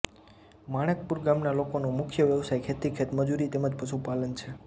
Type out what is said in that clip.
માણેકપુર ગામના લોકોનો મુખ્ય વ્યવસાય ખેતી ખેતમજૂરી તેમ જ પશુપાલન છે